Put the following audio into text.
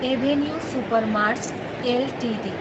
avenue supermarts Ltd